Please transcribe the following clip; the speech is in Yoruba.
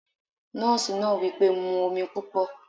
Drink plenty of water! the nurse said